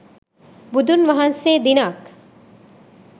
බුදුන් වහන්සේ දිනක්